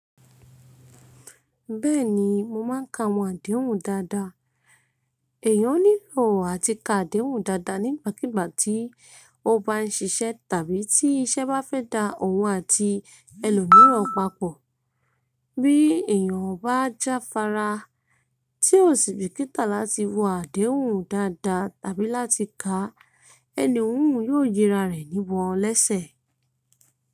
Bẹ́ẹ̀ni mo máa ń ka àwọn àdéhùn dáadáa. Èèyàn nílò à ti ka àdéhùn dáadáa nígbàkigbà tí ó bá ń ṣiṣẹ́ tàbí tí iṣẹ́ bá fẹ́ da òun àti ẹlòmíràn papọ̀. Bí èèyàn bá jáfara tí ó sì bìkítà láti wo àdéhùn dáadáa àbí láti ka, ẹni òhun yóò yinra rẹ̀ níbọn lésẹ̀.